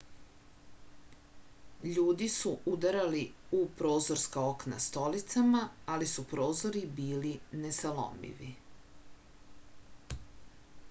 ljudi su udarali u prozorska okna stolicama ali su prozori bili nesalomivi